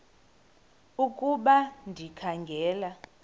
ukuba ndikha ngela